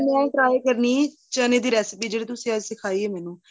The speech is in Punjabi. ਮੈਂ try ਕਰਨੀ ਏ ਚੰਨੇ ਦੀ recipe ਜਿਹੜੀ ਤੁਸੀਂ ਅੱਜ ਸਿਖਾਈ ਏ ਮੈਨੂੰ